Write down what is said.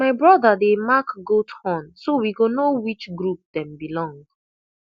my brother dey mark goat horn so we go know which group dem belong